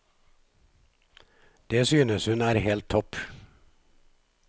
Det synes hun er helt topp.